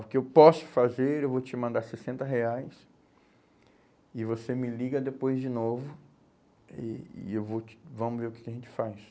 O que eu posso fazer, eu vou te mandar sessenta reais e você me liga depois de novo e e eu vou te, vamos ver o que que a gente faz.